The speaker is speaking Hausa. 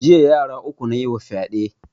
Jiya yara uku nayima fyaɗe